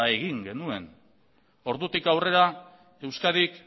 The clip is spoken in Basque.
egin genuen ordutik aurrera euskadik